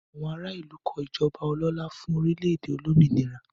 Àwọn ará ìlú kọ ìjọba ọlọ́lá fún orílẹ̀-èdè olómìnira.